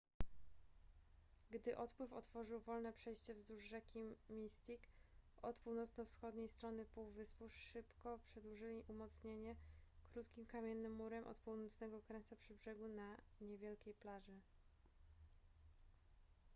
gdy odpływ otworzył wolne przejście wzdłuż rzeki mystic od północno-wschodniej strony półwyspu szybko przedłużyli umocnienie krótkim kamiennym murem od północnego krańca przy brzegu na niewielkiej plaży